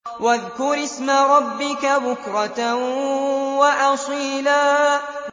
وَاذْكُرِ اسْمَ رَبِّكَ بُكْرَةً وَأَصِيلًا